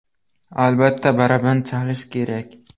Albatta, baraban chalish kerak .